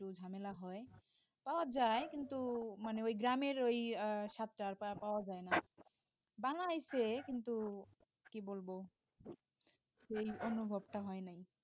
একটু ঝামেলা হয় পাওয়া যায় কিন্তু মানে ওই গ্রামের ওই আহ স্বাদটা আর পাওয়া যায় না বানাইছে কিন্তু কি বলবো সেই অনুভবটা হয় নাই